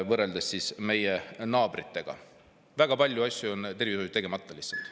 Võrreldes meie naabritega väga palju asju on tervishoius tegemata lihtsalt.